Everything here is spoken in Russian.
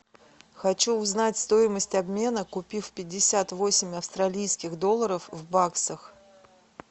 хочу узнать стоимость обмена купив пятьдесят восемь австралийских долларов в баксах